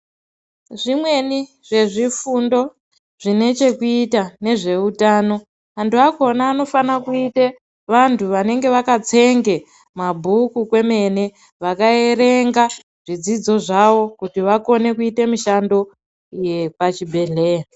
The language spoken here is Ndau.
Zvimweni zvezvifundo zvine chekuita nezveutano antu akona anofana kuite vantu vanenge vakatsenge mabhuku kwemene vakaverenge zvidzidzo zvavo kuti vakone kuite mishando yepachibhedhleya.